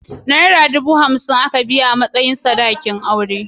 Naira dubu hamsin aka biya a matsayin sadakin auren.